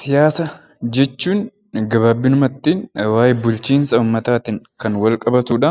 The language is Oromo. Siyaasa jechuun gabaabumatti waa'ee, bulchiinsa uummataatiin wal qabatudha.